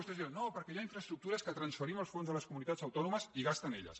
vostès diran no perquè hi ha infraestructures que transferim els fons a les comunitats autònomes i gasten elles